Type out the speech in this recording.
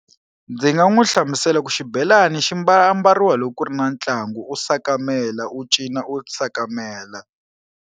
Ndzi nga n'wi hlamusela ku xibelani xi mbala ambariwa loko ku ri na ntlangu u sakamela u cina u sakamela.